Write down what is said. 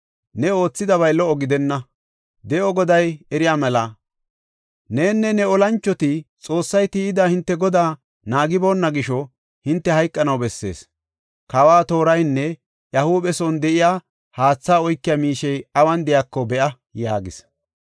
Ne oothidabay lo77o gidenna. De7o Goday eriya mela, nenne ne olanchoti Xoossay tiyida hinte godaa naagiboonna gisho hinte hayqanaw bessees. Kawa tooraynne iya huuphe son de7iya haathe oykiya miishey awun de7iyako be7a” yaagis.